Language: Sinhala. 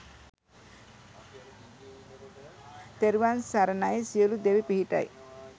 තෙරුවන් සරණයි සියලු දෙවි පිහිටයි